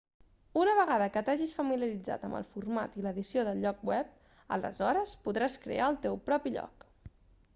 una vegada que t'hagis familiaritzat amb el format i l'edició del lloc web aleshores podràs crear el teu propi lloc